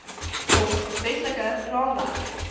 volg wetlike raamwerk